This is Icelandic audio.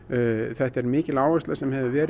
þetta er mikil áhersla sem hefur verið